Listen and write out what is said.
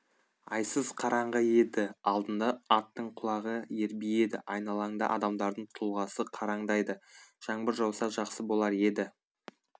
айсыз қараңғы еді алдында аттың құлағы ербиеді айналаңда адамдардың тұлғасы қараңдайды жаңбыр жауса жақсы болар еді